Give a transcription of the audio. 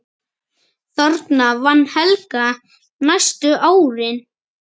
Þarna vann Helga næstu árin.